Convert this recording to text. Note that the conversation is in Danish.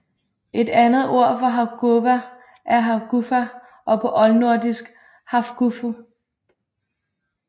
Et andet ord for hafguva er hafgufa og på oldnordisk hafgufu